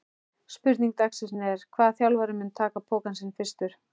Spurning dagsins er: Hvaða þjálfari mun taka pokann sinn fyrstur?